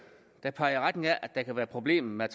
der peger i retning af at der kan være problemer